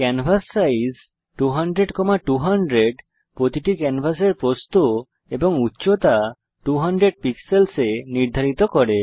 canvas size 200200 প্রতিটি ক্যানভাসের প্রস্থ এবং উচ্চতা 200 পিক্সেলস এ নির্ধারিত করে